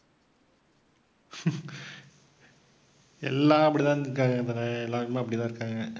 எல்லாம் அப்படி தான் இருக்காங்க இவனே எல்லாருமே அப்படித்தான் இருக்காங்க.